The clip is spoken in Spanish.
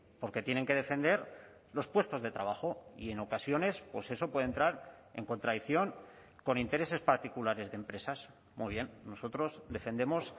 porque tienen que defender los puestos de trabajo y en ocasiones pues eso puede entrar en contradicción con intereses particulares de empresas muy bien nosotros defendemos